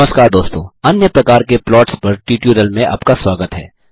नमस्कार दोस्तों अन्य प्रकार के प्लॉट्स पर ट्यूटोरियल में आपका स्वागत है